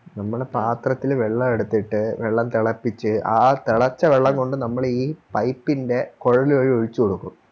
നമ്മള് പാത്രത്തില് വെള്ളവെടുത്തിട്ട് വെള്ളം തെളപ്പിച്ച് ആ തെളച്ച വെള്ളം കൊണ്ട് നമ്മളീ Pipe ൻറെ കൊഴല് വഴി ഒഴിച്ചുകൊടുക്കും